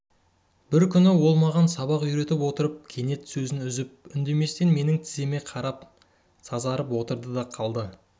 бір күні ол маған сабақ үйретіп отырып кенет сөзін үзіп үндеместен менің тіземе қарап сазарып отырды да қалды